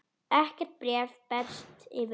Ekkert bréf berst fyrir helgi.